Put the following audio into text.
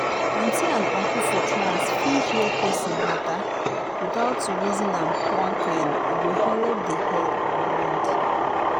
auntie and uncle for class fit hear person matter without to reason am one kind e go helep the head and mind.